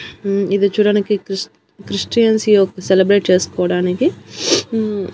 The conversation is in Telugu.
ఇది చూడ్డానికి క్రిష్టిఏన్సీ యొక్క సెలబ్రేట్ కోసుకోవడానికి.